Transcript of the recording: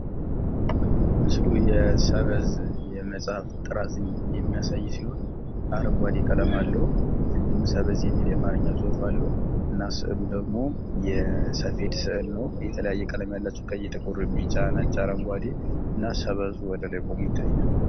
ምስሉ የሰበዝ የመጻሕፍት ጥራዝ የሚያሳይ ሲሆን፤ አረንጓዴ ቀለም አለው። እንዲሁም ሰበዝ የሚል የአማርኛ ጽሑፍ አለው። እና ስዕሉ ደግሞ የሰፌድ ስዕል ነው። የተለያየ ቀለም ያላቸው ቀይ ፣ ጥቁር ፣ ቢጫ ፣ነጭ ፣ አረንጓዴ እና ሰበዙ ወደ ላይ ቆሞ ይታያል።